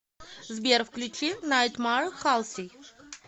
сбер включи найтмар халси